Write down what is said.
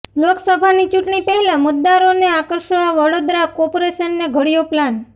લોકસભાની ચૂંટણી પહેલા મતદારોને આકર્ષવા વડોદરા કોર્પોરેશને ઘડ્યો પ્લાન